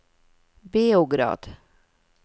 Beograd